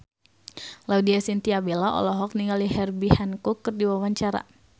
Laudya Chintya Bella olohok ningali Herbie Hancock keur diwawancara